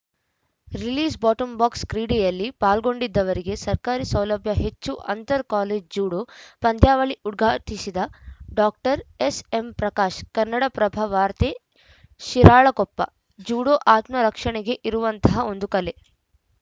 ರಿಲೀಸ್‌ಬಾಟಂಬಾಕ್ಸ ಕ್ರೀಡೆಯಲ್ಲಿ ಪಾಲ್ಗೊಂಡಿದ್ದವರಿಗೆ ಸರ್ಕಾರಿ ಸೌಲಭ್ಯ ಹೆಚ್ಚು ಅಂತರ್‌ ಕಾಲೇಜು ಜೂಡೋ ಪಂದ್ಯಾವಳಿ ಉದ್ಘಾಟಿಸಿದ ಡಾಕ್ಟರ್ ಎಸ್‌ಎಂಪ್ರಕಾಶ್‌ ಕನ್ನಡಪ್ರಭ ವಾರ್ತೆ ಶಿರಾಳಕೊಪ್ಪ ಜೂಡೋ ಆತ್ಮ ರಕ್ಷಣೆಗೆ ಇರುವಂತಹ ಒಂದು ಕಲೆ